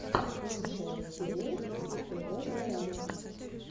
лучшая серия итвдн